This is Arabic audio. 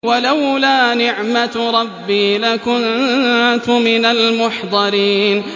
وَلَوْلَا نِعْمَةُ رَبِّي لَكُنتُ مِنَ الْمُحْضَرِينَ